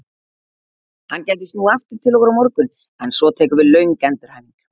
Hann gæti snúið aftur til okkar á morgun en svo tekur við löng endurhæfing.